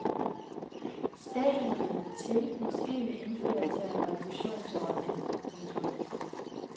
Staten må hjælpe til måske ved indførelse af en refusionsordning. punktum